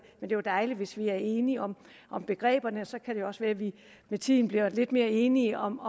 er dejligt hvis vi er enige om om begreberne og så kan det også være vi med tiden blive lidt mere enige om